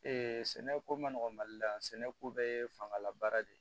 sɛnɛko ma nɔgɔ mali la yan sɛnɛko bɛɛ ye fangalabara de ye